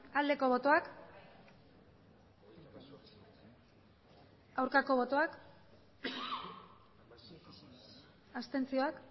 aldeko botoak aurkako botoak abstentzioak